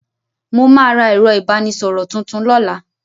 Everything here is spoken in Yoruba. Mo ma ra ẹ̀rọ ìbánísọ̀rọ̀ tuntun lọ́la.